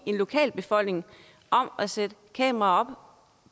en lokalbefolkning om at sætte kameraer op